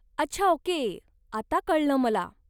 अच्छा, ओके, आता कळलं मला.